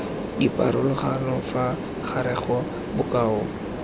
dipharologano fa gare ga bokao